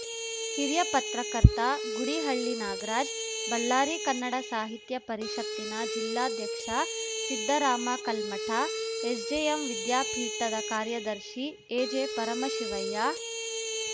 ಹಿರಿಯ ಪತ್ರಕರ್ತ ಗುಡಿಹಳ್ಳಿ ನಾಗರಾಜ್‌ ಬಳ್ಳಾರಿ ಕನ್ನಡ ಸಾಹಿತ್ಯ ಪರಿಷತ್ತಿನ ಜಿಲ್ಲಾಧ್ಯಕ್ಷ ಸಿದ್ಧರಾಮ ಕಲ್ಮಠ ಎಸ್‌ಜೆಎಂ ವಿದ್ಯಾಪೀಠದ ಕಾರ್ಯದರ್ಶಿ ಎಜೆ ಪರಮಶಿವಯ್ಯ